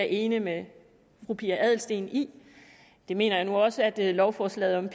enig med fru pia adelsteen i det mener jeg nu også at lovforslaget om